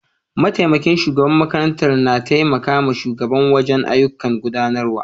Mataimakin shugaban makaranta na taimaka ma shugaba wajen ayyukan gudanarwa